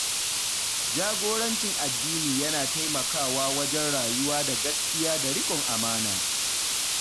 Jagorancin addini yana taimakawa wajen rayuwa da gaskiya da riƙon amana.